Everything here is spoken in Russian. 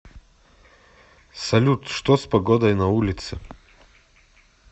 салют что с погодой на улице